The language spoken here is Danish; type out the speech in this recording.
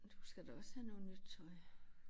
Du skal da også have noget nyt tøj